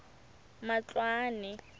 matloane